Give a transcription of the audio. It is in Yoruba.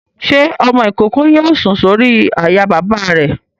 Ṣé ọmọ-ìkókó yóò sùn sórí àyà bàbá rẹ̀?